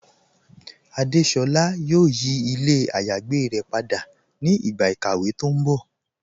Adésolá yóò yí ilẹ̀ àyágbé rẹ̀ pada ni ìgba ikàwé tó n bọ́.